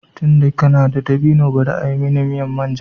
Tunda kana da dabino bari a yi miya manja